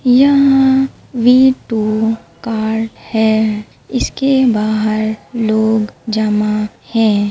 यहां भी V two card है इसके बाहर लोग जमा हैं।